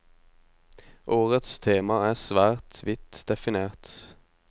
Årets tema er svært vidt definert.